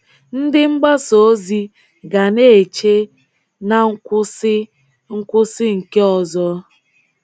Ndị mgbasa ozi ga na-eche na nkwụsị nkwụsị nke ọzọ.